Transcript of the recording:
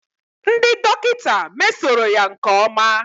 Ndị dọkịta mesoro ya nke ọma